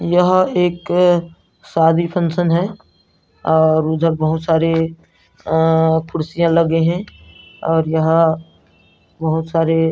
यह एक शादी फंक्शन है और उधर बहुत सारे कुर्सियां लगे है और यहां बहुत सारे --